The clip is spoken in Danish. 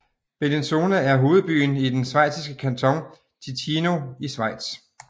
Bellinzona er hovedbyen i den schweiziske kanton Ticino i Schweiz